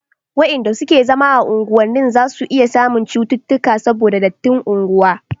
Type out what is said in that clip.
wayanda suke zama a unguwannin zasu iya samun cuttutuka saboda dattin unguwa